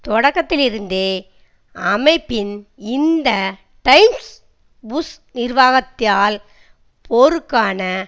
தொடக்கத்திலிருந்தே அமைப்பின் இந்த Times Bush நிர்வாகத்தால் போருக்கான